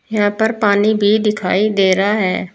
यहां पर पानी भी दिखाई दे रहा है।